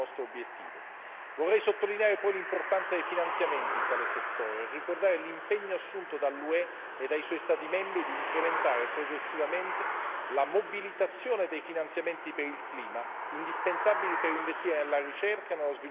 Vorrei sottolineare poi l'importanza dei finanziamenti in tale settore ricordare l'impegno assunto dall'UE e dei suoi Stati membri di incrementare progressivamente la mobilitazione dei finanziamenti per il clima, indispensabili per investire nella ricerca e nello sviluppo sostenibile.